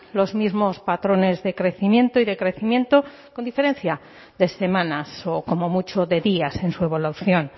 los mismos patrones de crecimiento y decrecimiento con diferencia de semanas o como mucho de días en su evolución